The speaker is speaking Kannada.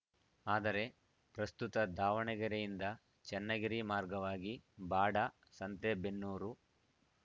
ಆದರೆ ಪ್ರಸ್ತುತ ದಾವಣಗೆರೆ ಯಿಂದ ಚನ್ನಗಿರಿ ಮಾರ್ಗವಾಗಿ ಬಾಡ ಸಂತೆಬೆನ್ನೂರು